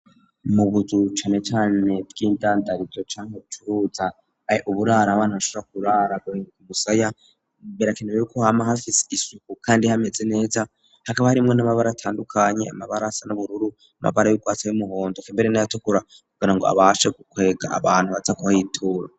mu buzu cane cane bw'indandarizo canke bucuruza uburaro abana bashobora kuharara gusa birakenewe ko hama hafise isuku kandi hameze neza hakaba harimwo n'amabara atandukanye amabara asa n'ubururu, amabara y'ugwatsi y'umuhondo eka mbere n'ayatukura, kugira ngo abashe gukwega abantu baza kuhitura.